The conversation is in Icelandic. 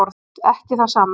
Ekki það sama